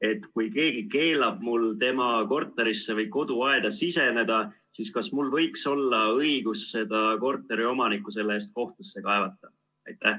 Et kui keegi keelab mul tema korterisse või koduaeda siseneda, siis kas mul võiks olla õigus seda korteriomanikku selle eest kohtusse kaevata?